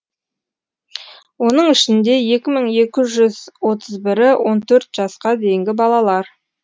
оның ішінде екі мың екі жүз отыз бірі он төрт жасқа дейінгі балалар